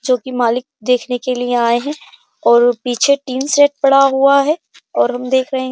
जोकि मालिक देखने के लिए आए है और पीछे टीन सेट पड़ा हुआ है और हम देख रहे हैं।